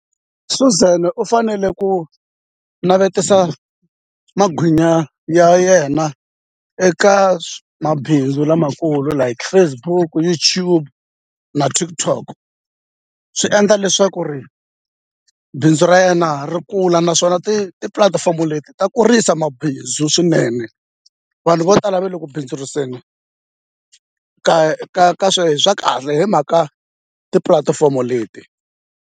Suzan u fanele ku navetisa magwinya ya yena eka mabindzu lamakulu like Facebook, YouTube na TikTok swi endla leswaku ri bindzu ra yena ri kula naswona tipulatifomo leti ta kurisa mabindzu swinene vanhu vo tala ve le ku bindzuriseni ka ka sweswo swa kahle hi mhaka tipulatifomo leti.